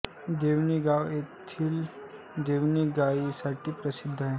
देवणी हे गाव तेथील देवणी गायींसाठी प्रसिद्ध आहे